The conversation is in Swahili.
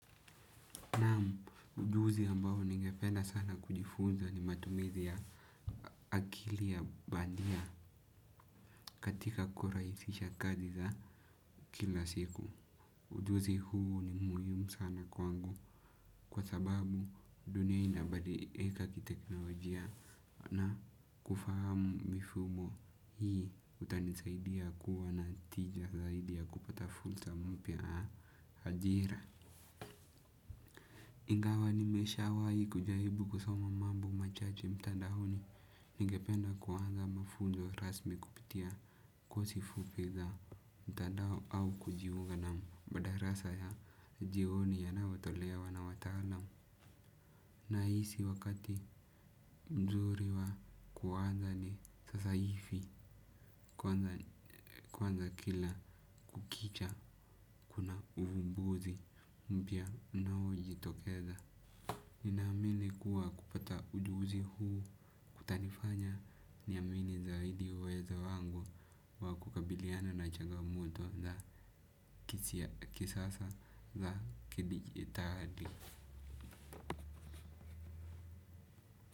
Naam, ujuzi ambao ningependa sana kujifunza ni matumizi ya akili ya bandia katika kuraisisha kazi za kila siku. Ujuzi huu ni muhimu sana kwangu kwa sababu dunia inabadilika kiteknolojia na kufahamu mifumo hii utanisaidia kuwa na tija zaidi ya kupata fulsa mpya ya ajira. Ingawa nimeshawahi kujaribu kusoma mambo machache mtandaoni ningependa kuanza mafunzo rasmi kupitia kosi fupi za mtandao au kujiunga na madarasa ya jioni yanayotolewa na wataalam. Nahisi wakati nzuri wa kuanza ni sasa hifi kuanza kila kukicha kuna uvumbuzi mpya unaojitokeza. Ninaamili kuwa kupata ujuzi huu kutanifanya naamini zaidi uwezo wangu wa kukabiliana na changamoto za kisasa za kidijitali.